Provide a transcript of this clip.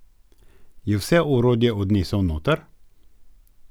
Je vse orodje odnesel noter?